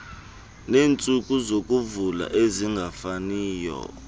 neentsuku zokuvula ezingafaniyo